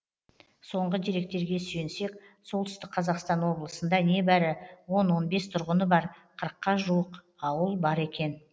соңғы деректерге сүйенсек солтүстік қазақстан облысында небәрі он он бес тұрғыны бар қырыққа жуық ауыл бар екен